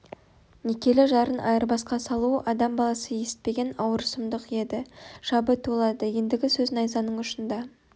некелі жарын айырбасқа салу адам баласы есітпеген ауыр сұмдық еді жабы тулады ендігі сөз найзаның ұшында